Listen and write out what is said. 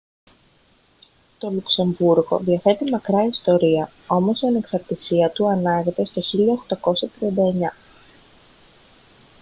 το λουξεμβούργο διαθέτει μακρά ιστορία όμως η ανεξαρτησία του ανάγεται στο 1839